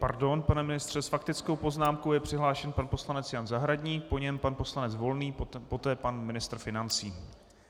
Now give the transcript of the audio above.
Pardon, pane ministře, s faktickou poznámkou je přihlášen pan poslanec Jan Zahradník, po něm pan poslanec Volný, poté pan ministr financí.